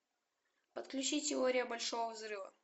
подключи теория большого взрыва